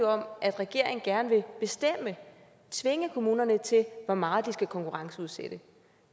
om at regeringen gerne vil bestemme tvinge kommunerne til hvor meget de skal konkurrenceudsætte